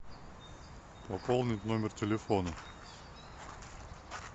пополнить номер телефона